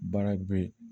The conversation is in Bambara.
Baara bɛ yen